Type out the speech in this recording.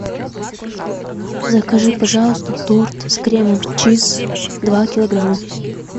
закажи пожалуйста торт с кремом чиз два килограмма